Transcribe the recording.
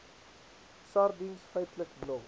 sardiens feitlik nul